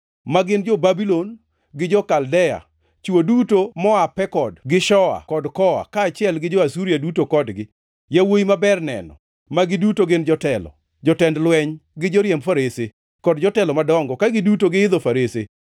ma gin jo-Babulon, gi jo-Kaldea, chwo duto moa Pekod gi Shoa kod Koa, kaachiel gi jo-Asuria duto kodgi; yawuowi maber neno, ma giduto gin jotelo, jotend jolweny, gi joriemb farese, kod jotelo madongo, ka giduto giidho farese.